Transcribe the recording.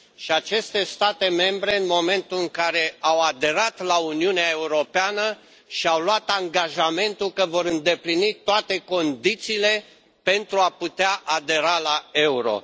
Și aceste state membre, în momentul în care au aderat la Uniunea Europeană, și au luat angajamentul că vor îndeplini toate condițiile pentru a putea adera la euro.